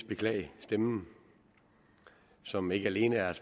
beklage stemmen som ikke alene er